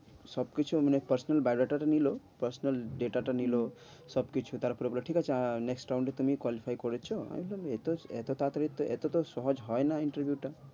সব কিছু আপনার personalbio data টা নিলো personal data টা নিলো, সব কিছু তারপর বলল ঠিক আছে আহ next round এ তুমি qualify করেছ, আমি ভাবলাম এত এত তাড়াতাড়ি তো এত তো সহজ হয় না interview টা